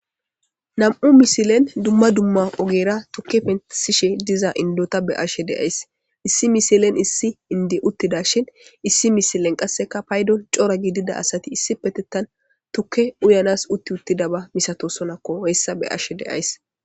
Nam'u misilen dumma dumma ogera tukke pensishe diza indota be ashshe deays issi misilen issi indi uttida shin issi misilen qasseka paydon cora gidida asati issi petetan tukke uyanas utti uttida ba misato sonakko heyssa be ashe deays.